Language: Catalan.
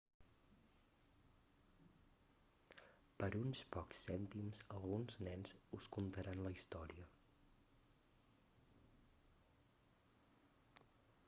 per uns pocs cèntims alguns nens us contaran la història